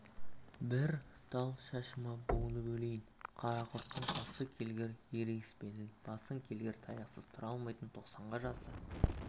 бір тал шашыма буынып өлейін қарақұрттың қасы келгір ерегеспенің басы келгір таяқсыз тұра алмайтын тоқсанға жасы